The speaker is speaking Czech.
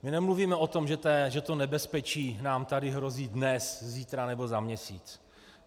My nemluvíme o tom, že to nebezpečí nám tady hrozí dnes, zítra nebo za měsíc.